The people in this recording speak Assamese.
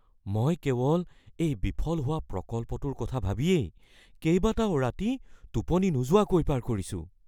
মই কেৱল এই বিফল হোৱা প্ৰকল্পটোৰ কথা ভাবিয়েই কেইবাটাও ৰাতি টোপনি নোযোৱাকৈ পাৰ কৰিছোঁ।